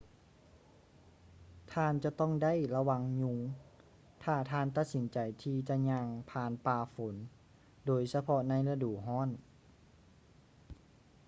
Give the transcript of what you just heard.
ທ່ານຈະຕ້ອງໄດ້ລະວັງຍຸງ ຖ້າທ່ານຕັດສິນໃຈທີ່ຈະຍ່າງຜ່ານປ່າຝົນ ໂດຍສະເພາະໃນລະດູຮ້ອນ